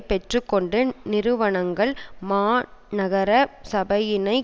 பெற்று கொண்ட நிறுவனங்கள் மாநகர சபையினை